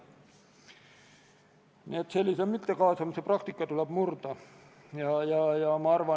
Kas Riigikogu liikmetel on soovi läbirääkimisi pidada?